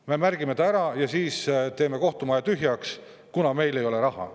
Me märgime ta ära ja siis teeme kohtumaja tühjaks, kuna meil ei ole raha.